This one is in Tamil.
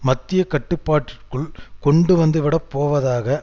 மத்திய கட்டுப்பாட்டிற்குள் கொண்டு வந்துவிடப் போவதாக